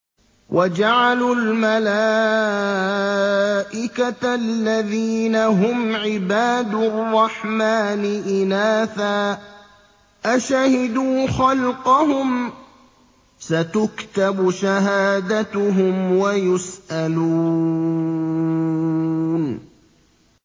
وَجَعَلُوا الْمَلَائِكَةَ الَّذِينَ هُمْ عِبَادُ الرَّحْمَٰنِ إِنَاثًا ۚ أَشَهِدُوا خَلْقَهُمْ ۚ سَتُكْتَبُ شَهَادَتُهُمْ وَيُسْأَلُونَ